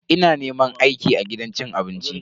Ina neman aiki a gidan cin abinci.